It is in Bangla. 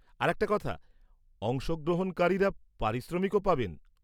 আর একটা কথা, অংশগ্রহণকারীরা পারিশ্রমিকও পাবেন।